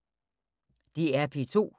DR P2